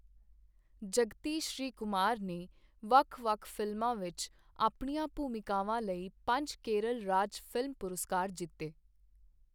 ਜਗਤੀ ਸ਼੍ਰੀਕੁਮਾਰ ਨੇ ਵੱਖ ਵੱਖ ਫਿਲਮਾਂ ਵਿੱਚ ਆਪਣੀਆਂ ਭੂਮਿਕਾਵਾਂ ਲਈ ਪੰਜ ਕੇਰਲ ਰਾਜ ਫ਼ਿਲਮ ਪੁਰਸਕਾਰ ਜਿੱਤੇ।